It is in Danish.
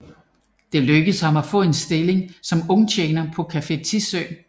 Det lykkedes ham at få en stilling som ungtjener på Café Tissø